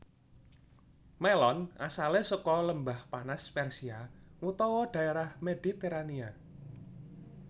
Mélon asalé saka Lembah Panas Persia utawa dhaérah Mediterania